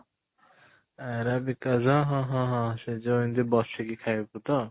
Arabic as ହଁ ହଁ ହଁ ସେ ଯଉ ଏମିତି ବସିକି ଖାଇବାକୁ ତ ?